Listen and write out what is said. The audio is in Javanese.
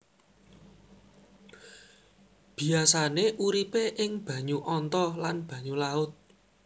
Biasané uripé ing banyu anta lan banyu laut